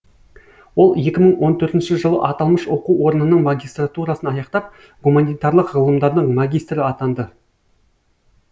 ол екі мың он төртінші жылы аталмыш оқу орнының магистратурасын аяқтап гуманитарлық ғылымдардың магистрі атанды